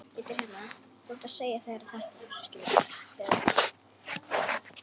Ekki vissi ég það.